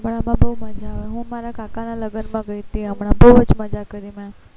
પણ આમાં બહુ મજા આવે હું મારા કાકા ના લગ્ન માં ગયી હતીં બહુ જ મજા કરી મેં